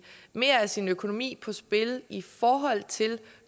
mere af sin økonomi på spil i forhold til